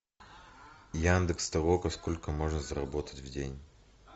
яндекс толока сколько можно заработать в день